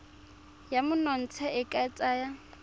ya monontsha e ka tsaya